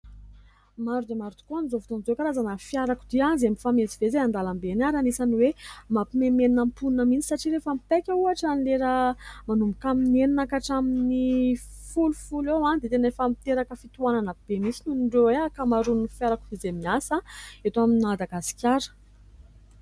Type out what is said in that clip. Maro dia maro tokoa ny amin'izao fotoana izao karazany fiarakodia izay mifamezivezy eny an-dalambe eny, ary anisany mampimenomenona ny mponina mihitsy satria rehefa mipaika ohatra ny lera manomboka amin'ny enina ka hatraminin'ny folofolo eo dia tena efa miteraka fitohanana be mihitsy moa ny ankamaroany fiara ko izay miasa eto amin'ny Madagasikara !